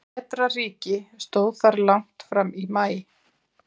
Vetrarríki stóð þar langt fram í maí.